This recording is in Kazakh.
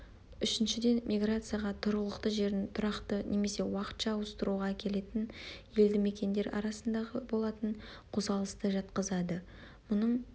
үшіншіден миграцияға тұрғылықты жерін тұрақты немесе уақытша ауыстыруға әкелетін елді мекендер арасындағы болатын қозғалысты жатқызады мұның